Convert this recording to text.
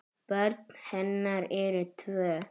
Börn hennar eru tvö.